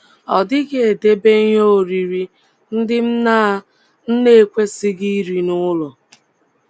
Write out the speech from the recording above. Ọ dịghị edebe ihe oriri ndị m na m na - ekwesịghị iri n’ụlọ.